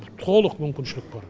толық мүмкіншілік бар